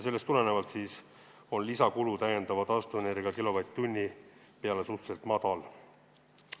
Sellest tulenevalt on lisakulu täiendava taastuvenergia kilovatt-tunni peale suhteliselt madal.